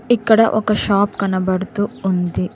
ఇక్కడ ఒక షాప్ కనబడుతు ఉంది.